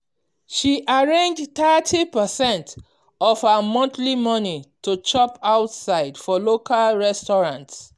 she arrange thirty percentage of her monthly money to chop outside for local restaurants